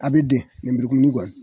A bɛ den nemburu. kumuni kɔni.